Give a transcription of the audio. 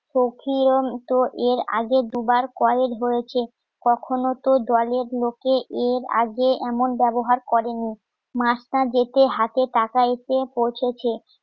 তো এর আগে দুবার কয়েক বলেছে কখনো তো দলের লোকে এর আগে এমন ব্যবহার করেনি মাসটা যেতে হাতে টাকা এসে পৌঁছেছে